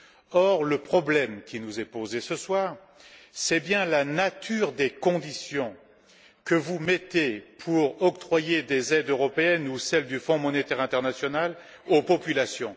Or, le problème qui nous est posé ce soir, c'est bien la nature des conditions que vous mettez pour octroyer des aides européennes ou celles du Fonds monétaire international aux populations.